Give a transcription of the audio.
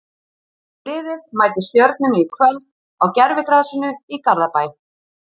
Liðið mætir Stjörnunni í kvöld á gervigrasinu í Garðabæ.